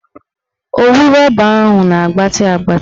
Owu rọba ahụ na-agbatị agbatị